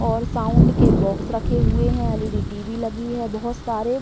और साउंड के बॉक्स रखे हुए हैं एल.ई.डी टी.वी लगी है बहुत सारे --